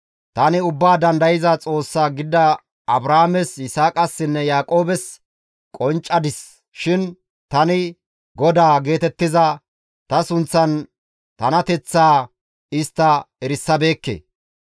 tani Ubbaa Dandayza Xoossa gidada Abrahaames, Yisaaqassinne Yaaqoobes qonccadis shin tani, ‹GODAA› geetettiza ta sunththan tanateththaa istta erisabeekke.